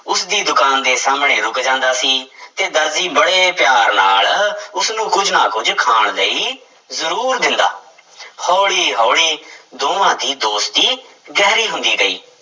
ਉਸਦੀ ਦੁਕਾਨ ਦੇ ਸਾਹਮਣੇ ਰੁੱਕ ਜਾਂਦਾ ਸੀ ਤੇ ਦਰਜੀ ਬੜੇ ਪਿਆਰ ਨਾਲ ਉਸਨੂੰ ਕੁੱਝ ਨਾ ਕੁੱਝ ਖਾਣ ਲਈ ਜ਼ਰੂਰ ਦਿੰਦਾ ਹੌਲੀ ਹੌਲੀ ਦੋਵਾਂ ਦੀ ਦੋਸਤੀ ਗਹਿਰੀ ਹੁੰਦੀ ਗਈ।